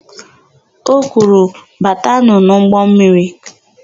O kwuru, "batanụ n'ụgbọmmiri"!